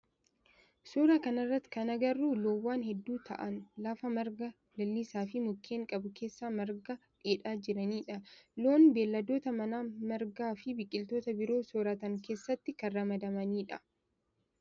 Suuraa kana irratti kan agarru loowwan heddu ta'aan lafa marga lalisaa fi mukkeen qabu keessa marga dheedaa jiranidha. Loon beelladoota manaa margaa fi biqiltoota biroo sooratan keessatti kan ramadamanii dha